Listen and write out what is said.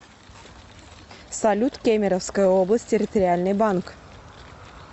салют кемеровская область территориальный банк